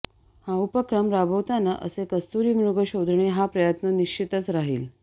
हा उपक्रम राबवताना असे कस्तुरीमृग शोधणे हा प्रयत्न निश्चितच राहिल